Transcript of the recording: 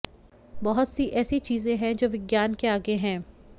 बहुत सी ऐसी चीजें हैं जो विज्ञान से आगे हैं